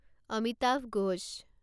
Amitabh Ghosh